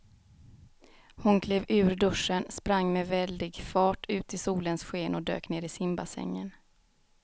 Hon klev ur duschen, sprang med väldig fart ut i solens sken och dök ner i simbassängen.